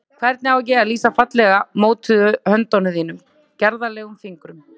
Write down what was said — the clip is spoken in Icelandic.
Hvernig á ég að lýsa fallega mótuðum höndum þínum, gerðarlegum fingrum?